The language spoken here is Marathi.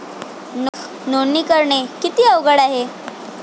नोंदणी करणे किती अवघड आहे?